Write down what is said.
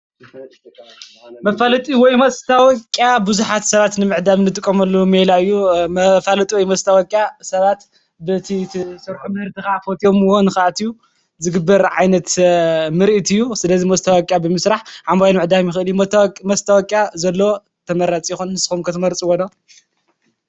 መፋላጢ ወይ ከዓ ማስታወቅያ ብዙሓት ሰባት ንምዕዳም እንጥቀመሉ ሜላ እዩ። መፋለጢ ወይ ማስተወቅያ ሰባት በቲ ስርሖ ምህርትኻ ፈትየምዎ ንክኣትው ዝግበር ዓይነት ምርኢት እዩ። ስለዚ ማስተወቅያ ብምስራሕ ዓማዊል ምዕዳግ ይክእል። ማስተወቅያ ዘለዎ ተመራፂ ይኸውን። ንስኹም ከ ንትመርፅዎ ዶ?